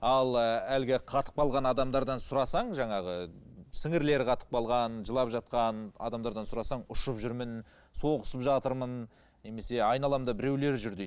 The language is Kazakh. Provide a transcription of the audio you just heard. ал і әлгі қатып қалған адамдардан сұрасаң жаңағы сіңірлері қатып қалған жылап жатқан адамдардан сұрасаң ұшып жүрмін соғысып жатырмын немесе айналамда біреулер жүр дейді